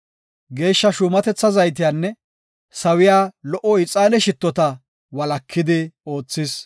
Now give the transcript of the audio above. Geeshsha shuumatetha zaytiyanne sawiya lo77o ixaane shittoda walakidi oothis.